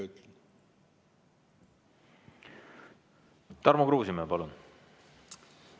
Tarmo Kruusimäe, palun!